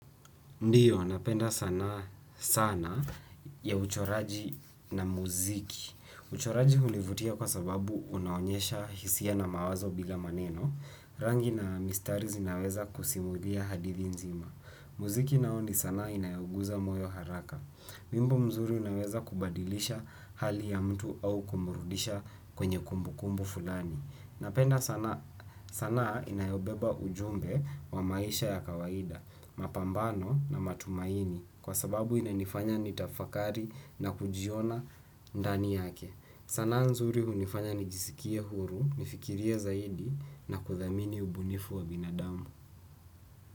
Ndiyo, napenda sanaa sana ya uchoraji na muziki. Uchoraji hunivutia kwa sababu unaonyesha hisia na mawazo bila maneno. Rangi na mistari zinaweza kusimulia hadithi nzima. Muziki nao ni sanaa inayoguza moyo haraka. Wimbo mzuri unaweza kubadilisha hali ya mtu au kumurudisha kwenye kumbukumbu fulani. Napenda sana inayobeba ujumbe wa maisha ya kawaida. Mapambano na matumaini kwa sababu inanifanya nitafakari na kujiona ndani yake. Sanaa nzuri hunifanya nijisikie huru, nifikirie zaidi na kuthamini ubunifu wa binadamu.